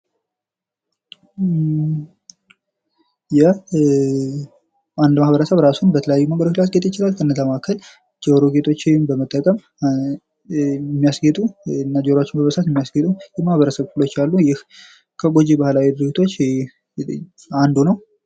አንድ ማህበረሰብ እራሱን በተለያየ መንገድ ሊያስጌጥ ይችላል ከነዚያ መካከል ጆሮ ጌጦችን በመጠቀም የሚያስጌጡ እና ጆሮአቸውን በመበሳት የሚያስጌጡ የማህበረሰብ ክፍሎች አሉ እና ይህ ከጎጂ ባህላዊ ድርጊቶች መካከል አንዱ ነው።